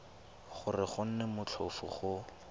gore go nne motlhofo go